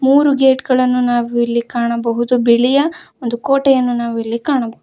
ಮೂರು ಗೇಟ್ ಗಳನ್ನು ನಾವು ಇಲ್ಲಿ ಕಾಣಬಹುದು ಬಿಳಿಯ ಒಂದು ಕೋಟೆಯನ್ನು ನಾವಿಲ್ಲಿ ಕಾಣಬ--